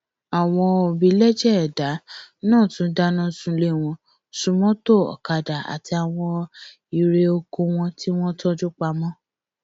àwọn obilẹjẹ ẹdà náà tún dáná sunlé wọn sun mọtò ọkadà àti àwọn irè oko wọn tí wọn tọjú pamọ